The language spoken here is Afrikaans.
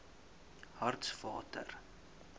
hartswater